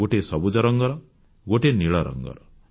ଗୋଟିଏ ସବୁଜ ରଙ୍ଗର ଗୋଟିଏ ନୀଳ ରଙ୍ଗର